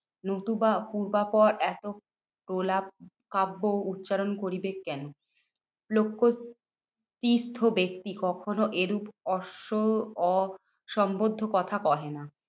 নতুবা পূর্বাপর এত প্রলাপ কাব্য উচ্চারণ করিবে কেন? লক্ষ্য তীর্থ ব্যক্তি কখনো এরূপ অস্ম অসংবদ্ধ কথা কহে না।